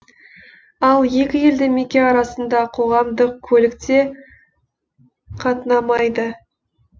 ал екі елді мекен арасында қоғамдық көлік те қатынамайды